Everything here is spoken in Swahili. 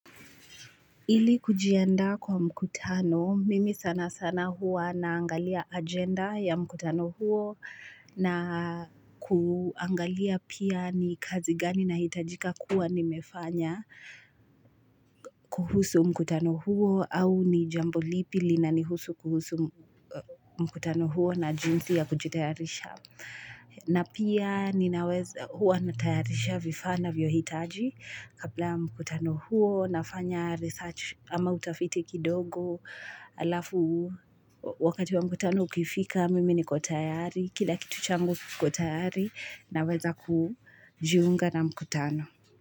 Ili kujianda kwa mkutano, mimi sana sana huwa naangalia agenda ya mkutano huo na kuangalia pia ni kazi gani nahitajika kuwa nimefanya kuhusu mkutano huo au ni jambo lipi linanihusu kuhusu mkutano huo na jinsi ya kujitayarisha. Na pia ninaweza huwa natayarisha vifaa ninavyo hitaji kabla ya mkutano huo nafanya research ama utafiti kidogo halafu wakati wa mkutano ukifika mimi niko tayari kila kitu changu kiko tayari naweza kujiunga na mkutano.